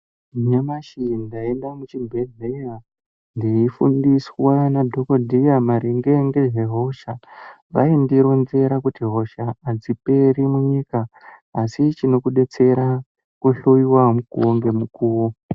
Nyamashi ndaenda muchibhedhlera ndeyifundiswa nadhokodheya maringe ngezvehosha. Vaindironzera kuti, hosha adziperi munyika asi chinokudetsera kuhloiwa mukombe mukuru.